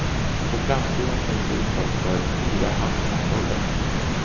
På framsidan finns uttag för fyra handkontroller.